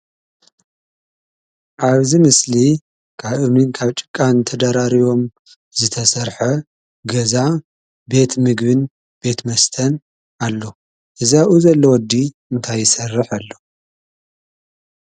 አብዚ ምስሊ ካብ እምንን ካብ ጭቃን ተደራሪቦም ዝተሰርሐ ገዛ ቤት ምግብን ቤት መስተን አሎ። እዚ አብኡ ዘሎ ወዲ እንታይ ይሰርሕ አሎ?